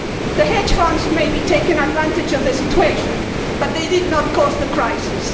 The hedge funds may be taking advantage of the situation, but they did not cause the crisis.